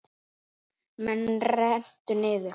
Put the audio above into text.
Með rennt niður.